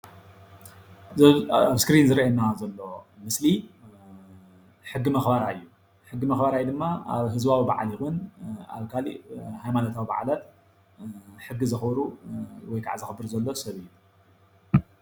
እዞም ኣብ እስክሪን ዝረአየና ዘሎ ምስሊ ሕጊ መክበራይ እዩ፡፡ ሕጊ መክበራይ ድማ ኣብ ህዝባዊ በዓል ይኩን ኣብ ካሊእ ሃይማኖታዊ በዓላት ሕጊ ዘክብሩ ወይ ከዓ ሕጊ ዘክብር ዘሎ ሰብ እዩ፡፡